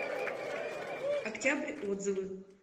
октябрь отзывы